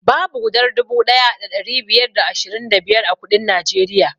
Babu gudar dubu ɗaya da ɗari biyar da ashirin da biyar a kuɗin najeriya